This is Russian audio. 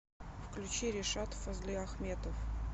включи ришат фазлиахметов